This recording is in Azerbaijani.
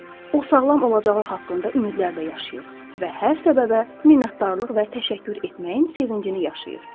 O sağlam olacağı haqqında ümidlərlə yaşayır və hər səbəbə minnətdarlıq və təşəkkür etməyin sevincini yaşayır.